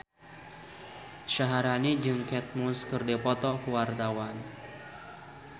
Syaharani jeung Kate Moss keur dipoto ku wartawan